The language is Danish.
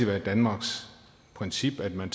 været danmarks princip at man